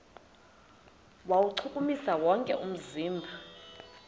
kuwuchukumisa wonke umzimba